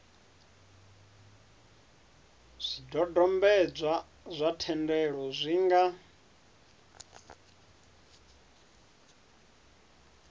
zwidodombedzwa zwa thendelo zwi nga